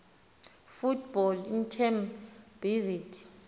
football team based